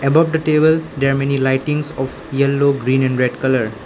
above the table there are many lightings of yellow green and red colour.